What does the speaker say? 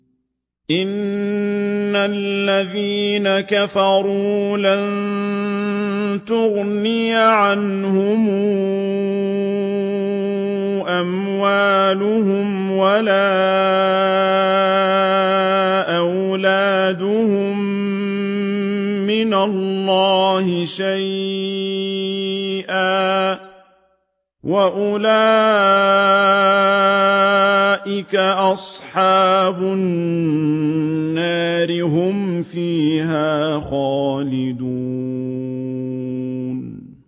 إِنَّ الَّذِينَ كَفَرُوا لَن تُغْنِيَ عَنْهُمْ أَمْوَالُهُمْ وَلَا أَوْلَادُهُم مِّنَ اللَّهِ شَيْئًا ۖ وَأُولَٰئِكَ أَصْحَابُ النَّارِ ۚ هُمْ فِيهَا خَالِدُونَ